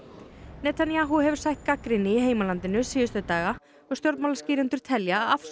Netanyahu hefur sætt gagnrýni í heimalandinu síðustu daga stjórnmálaskýrendur telja að afsögn